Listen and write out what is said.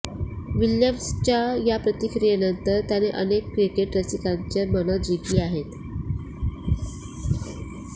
विल्यमसनच्या या प्रतिक्रियेनंतर त्याने अनेक क्रिकेट रसिकांची मनं जिंकली आहेत